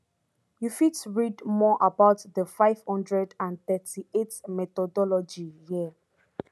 you fit read more about di five hundred and thirty-eight methodologyhere